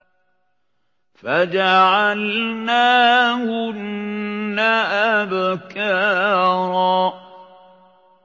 فَجَعَلْنَاهُنَّ أَبْكَارًا